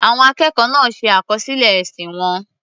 Àwọn akẹ́kọ̀ọ́ náà ṣe àkọsílẹ̀ èsì wọn.